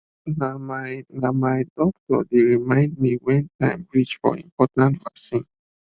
na my na my doctor dey remind me when time reach for important vaccine